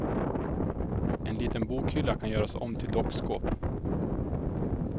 En liten bokhylla kan göras om till dockskåp.